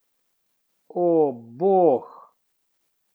O, bog!